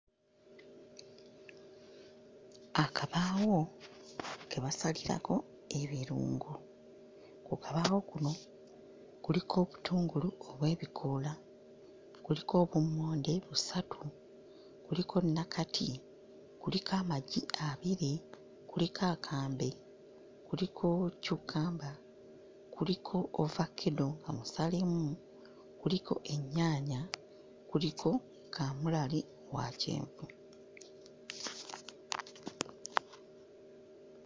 Akabaawo ke basalirako ebirungo, ku kabaawo kuno kuliko obutungulu n'ebikoola, kuliko obummonde busatu, kuliko nnakati, kuliko amagi abiri, kuliko akambe, kuliko cukkamba, kuliko ovakeddo omusalemu, kuliko ennyaanya, kuliko kamulali wa kyenvu.